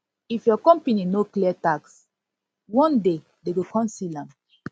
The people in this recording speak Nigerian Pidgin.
if your company no clear tax one clear tax one day dem go come seal am